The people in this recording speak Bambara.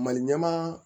Maliɲɛma